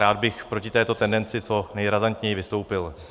Rád bych proti této tendenci co nejrazantněji vystoupil.